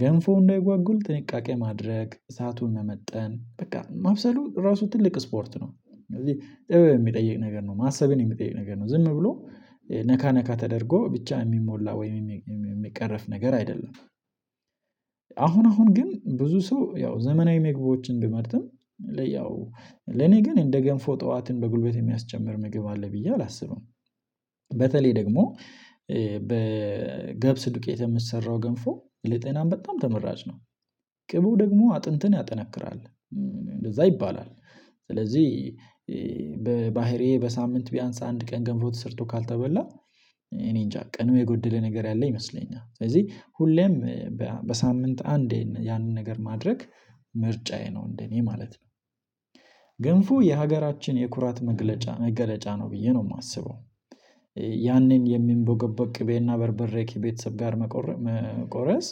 ገንፎ እንዳይጓጉል ጥንቃቄ ማድረግ እሳቱን መመጠን በቃ ማብሰሉ ራሱ ትልቅ ስፖርት ነው። ስለዚህ ጥበብ የሚጠይቅ ነገር ነው። ማሰብን የሚጠይቅ ነገር ነው። ዝም ብሎ ነካ ነካ ተደርጎ ብቻ የሚሞላ ወይም የሚቀርፍ ነገር አይደለም። አሁን አሁን ግን ብዙ ሰው ያው ዘመናዊ ምግቦችን ቢመርጥም ለኔ ግን እንደ ገንፎ ጠዋትን በጉልበት የሚያስጨምር ምግብ አለ ብዬ አላስብም። በተለይ ደግሞ በገብስ ዱቄት የሚሰራው ገንፍ ለጤናም በጣም ተመራጭ ነው። ቅቡው ደግሞ አጥንትን ያጠነክራል እንደዛ ይባላል። ስለዚህ በባህሪዬ በሳምንት ቢያንስ አንድ ቀን ገንፎ ተሰርቶ ካልተበላ እኔንጃ ቀኑ የጎደለ ነገር ያለው ይመስለኛል። ስለዚህ ሁሌም በሳምንት አንዴ ያንን ነገር ማድረግ ምርጫዬ ነው እንደኔ ማለት ነው። ገንፉ የሀገራችን የኩራት መግለጫ መገለጫ ነው ብዬ ነው የማስበው። ያንን የሚንቦገበግ ቅቤና በርበሬ ከቤተሰብ ጋር መቁረስ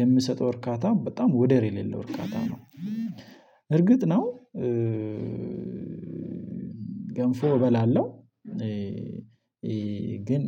የሚሰጠው እርካታ በጣም ወደር የሌለው እርካታ ነው እርግጥ ነው። ገንፎ እበላለሁ። ግን